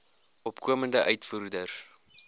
opkomende uitvoerders